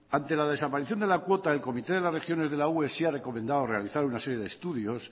ante la desaparición de la cuota el comité de las regiones de la ue sí ha recomendado realizar una serie de estudios